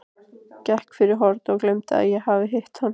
Gekk fyrir horn og gleymdi að ég hafði hitt hann.